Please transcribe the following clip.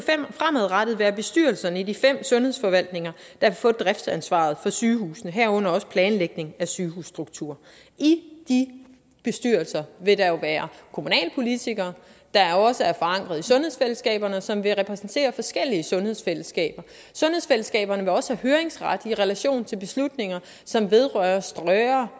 fremadrettet være bestyrelserne i de fem sundhedsforvaltninger der får driftsansvaret for sygehusene herunder også planlægning af sygehusstruktur i de bestyrelser vil der jo være kommunalpolitikere der også er forankret i sundhedsfællesskaberne som vil repræsentere forskellige sundhedsfællesskaber sundhedsfællesskaberne vil også have høringsret i relation til beslutninger som vedrører større